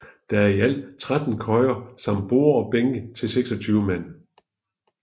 Der er i alt 13 køjer samt borde og bænke til 26 mand